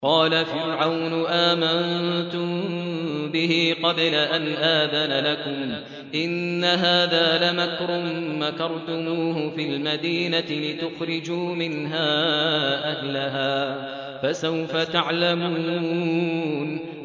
قَالَ فِرْعَوْنُ آمَنتُم بِهِ قَبْلَ أَنْ آذَنَ لَكُمْ ۖ إِنَّ هَٰذَا لَمَكْرٌ مَّكَرْتُمُوهُ فِي الْمَدِينَةِ لِتُخْرِجُوا مِنْهَا أَهْلَهَا ۖ فَسَوْفَ تَعْلَمُونَ